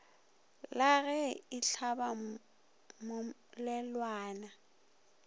la ge e hlaba mmolelwana